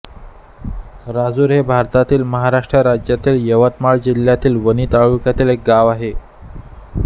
राजुर हे भारतातील महाराष्ट्र राज्यातील यवतमाळ जिल्ह्यातील वणी तालुक्यातील एक गाव आहे